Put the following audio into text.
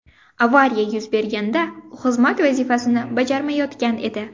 Avariya yuz berganda u xizmat vazifasini bajarmayotgan edi.